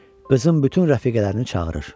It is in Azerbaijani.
Özün bütün rəfiqələrini çağırır.